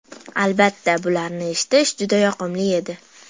Albatta, bularni eshitish juda yoqimli edi.